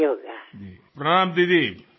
మీకు అనేకానేక శుభాకాంక్షలు